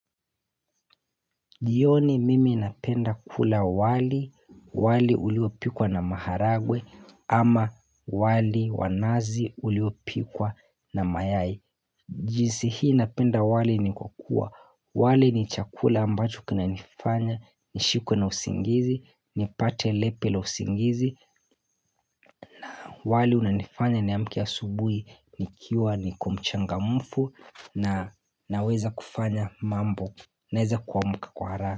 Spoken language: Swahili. Jioni mimi napenda kula wali, wali uliopikwa na maharagwe ama wali wa nazi uliopikwa na mayai. Jinsi hii napenda wali ni kukuwa, wali ni chakula ambacho kina nifanya, nishikwe na usingizi, nipate lepe la usingizi, wali unanifanya niamke asubuhi, nikiwa niko mchangamfu na naweza kufanya mambo, naweza kuamka kwa haraka.